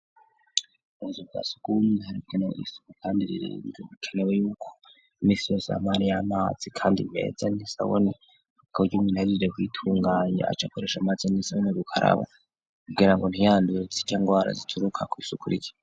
Ubuzi bwa sugume harikene isuku kandiriringo bikenewe yuko misi yo samari y'amazi, kandi meza ntisobone kkuryaumu ntahizirya kwitunganye aca akoresha amazi n'insoboni gukarabo kugira ngo ntihandurutse itango warazituruka ko'isuku rya.